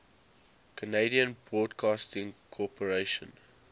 canadian broadcasting corporation